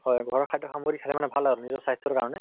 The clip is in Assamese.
হয় ঘৰৰ খাদ্য় সামগ্ৰি খালে মানে ভাল আৰু নিজৰ স্বাস্থ্য়ৰ কাৰণে